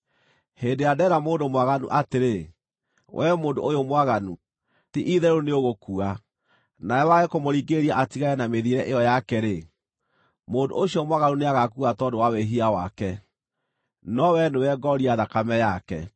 Hĩndĩ ĩrĩa ndeera mũndũ mwaganu atĩrĩ, ‘Wee mũndũ ũyũ mwaganu, ti-itherũ nĩũgũkua,’ nawe wage kũmũringĩrĩria atigane na mĩthiĩre ĩyo yake-rĩ, mũndũ ũcio mwaganu nĩagaakua tondũ wa wĩhia wake, no wee nĩwe ngooria thakame yake.